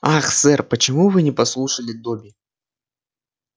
ах сэр почему вы не послушали добби